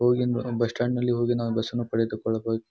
ಹೂಗಿಂದ bus stand ನಲ್ಲಿ ಹೋಗಿ ನಾವು ಬಸ್ ಅನ್ನು ಪಡೆದುಕೊಳ್ಳಬಹುದು.